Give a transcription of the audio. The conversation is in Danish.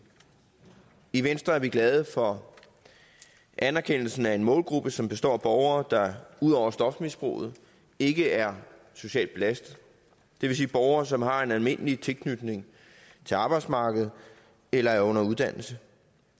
i venstre er vi glade for anerkendelsen af en målgruppe som består af borgere der ud over stofmisbruget ikke er socialt belastede det vil sige borgere som har en almindelig tilknytning til arbejdsmarkedet eller er under uddannelse